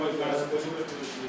Mən sizə göstərdim.